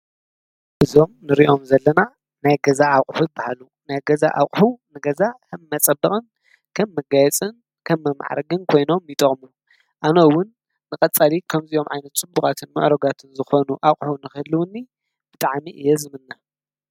እዞም ንርእዮም ዘለማ ናይ ገዛ ኣቕሑት በሃሉ ናይ ገዛ ኣቕሁ ነገዛ ሕም መጸብቕን ከም መጋየጽን ከም መምዕረግን ኮይኖም ይጠቕሙ ኣነውን ንቐጻሊ ከምዝኦም ዓይነ ቱ ቡቓትን ምዕረጋትን ዝኾኑ ኣቝሕ ንኽህልዉኒ ብጠዓሜ እይ ዝምነ።